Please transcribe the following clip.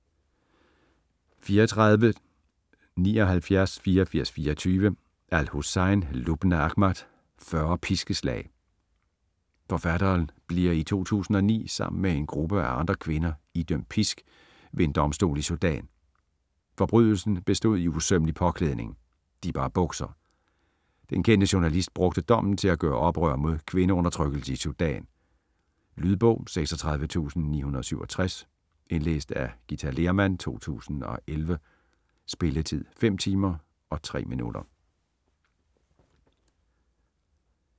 34.798424 al-Hussein, Lubna Ahmad: 40 piskeslag Forfatteren bliver i 2009 sammen med en gruppe af andre kvinder idømt pisk ved en domstol i Sudan. Forbrydelsen bestod i usømmelig påklædning. De bar bukser. Den kendte journalist brugte dommen til at gøre oprør mod kvindeundertrykkelse i Sudan. Lydbog 36967 Indlæst af Githa Lehrmann, 2011. Spilletid: 5 timer, 3 minutter.